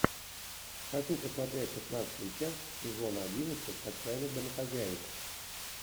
хочу посмотреть шестнадцатую часть сезона одиннадцать отчаянных домохозяек